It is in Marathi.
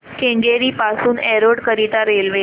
केंगेरी पासून एरोड करीता रेल्वे